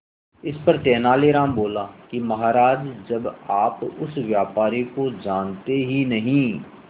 इस पर तेनालीराम बोला महाराज जब आप उस व्यापारी को जानते ही नहीं